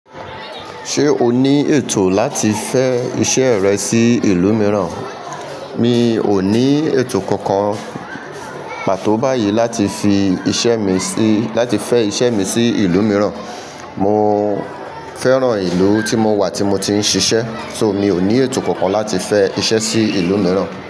Ṣé o ní ètò láti fẹ́ iṣẹ́ rẹ sí ìlú mìíràn? Mi ò ní ètò kankan pàtó báyìí láti fi iṣẹ́ mi sí, láti fẹ́ iṣẹ́ mi sí ìlú mìíràn. Mo fẹ́ràn ìlú tí mo wà tí mo ti ń ṣiṣẹ́. So, mi ò ní ètò kankan láti fẹ́ iṣẹ́ sí ìlú mìíràn.